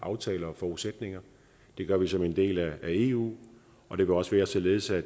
aftaler og forudsætninger det gør vi som en del af eu og det vil også være således at